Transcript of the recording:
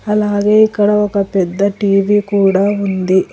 అలాగే ఇక్కడ ఒక పెద్ద టీ_వీ కూడా ఉంది.